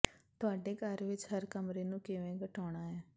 ਤੁਹਾਡੇ ਘਰ ਵਿੱਚ ਹਰ ਕਮਰੇ ਨੂੰ ਕਿਵੇਂ ਘਟਾਉਣਾ ਹੈ